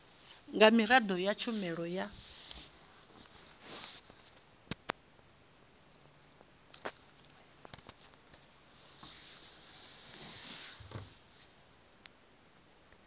nga miraḓo ya tshumelo ya